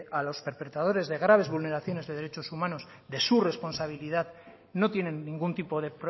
a los perpetradores de graves vulneraciones de derechos humanos de su responsabilidad no tienen ningún tipo de